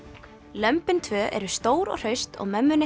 lömbin tvö eru stór og hraust og mömmunni